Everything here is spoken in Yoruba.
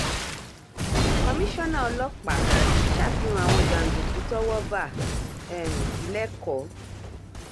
komisanna ọlọ́pàá ṣàfihàn àwọn jàǹdùkú tọ́wọ́ bá um lẹ́kọ̀ọ́